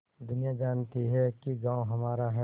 दुनिया जानती है कि गॉँव हमारा है